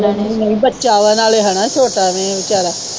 ਨਹੀਂ ਨਹੀਂ ਬੱਚਾ ਵਾ ਨਾਲੇ ਹੈਨਾ ਛੋਟਾ ਐਵੇ ਵਿਚਾਰਾ।